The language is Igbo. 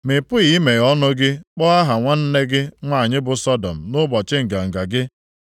Ma ị pụghị emeghe ọnụ gị kpọọ aha nwanne gị nwanyị bụ Sọdọm nʼụbọchị nganga gị,